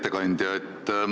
Hea ettekandja!